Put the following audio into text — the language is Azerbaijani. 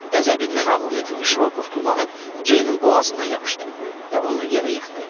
Qəzəbindən ağlını itirmiş Rokov tullanıb Ceynin boğazından yapışdı və onu yerə yıxdı.